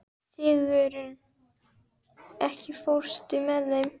Sigurunn, ekki fórstu með þeim?